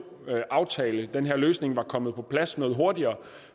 aftale var kommet på plads noget hurtigere